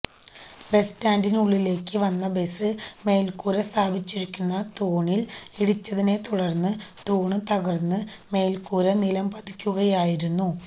ബസ്റ്റാന്റിന് ഉള്ളിലേക്ക് വന്ന ബസ് മേല്ക്കൂര സ്ഥാപിച്ചിരുന്ന തൂണില് ഇടിച്ചതിനെതുടര്ന്ന് തൂണ് തകര്ന്ന് മേല്ക്കൂര നിലംപതിക്കുകയായിരുന്നു